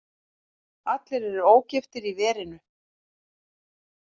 Allir eru ógiftir í verinu.